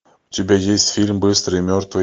у тебя есть фильм быстрый и мертвый